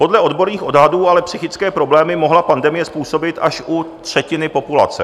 Podle odborných odhadů ale psychické problémy mohla pandemie způsobit až u třetiny populace.